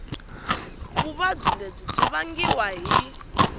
vuvabyi lebyi byi vangiwa hi